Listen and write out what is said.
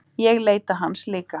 Ég leita hans líka.